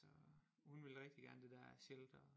Så hun vil rigtig gerne det der shelter